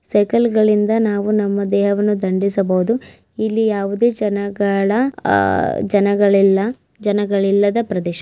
ಸೈಕಲ್ಗಳಿಂದ ನಾವು ನಮ್ಮ ದೇಹವನ್ನು ದಂಡಿಸಬಹುದು ಇಲ್ಲಿ ಯಾವುದೇ ಜನಗಳ ಆಹ್ ಜನಗಲಿಲ್ಲ ಜನಗಲಿಲ್ಲದ ಪ್ರದೇಶ.